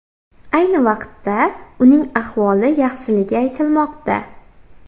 Ayni vaqtda uning ahvoli yaxshiligi aytilmoqda.